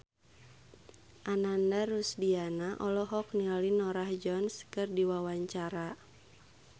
Ananda Rusdiana olohok ningali Norah Jones keur diwawancara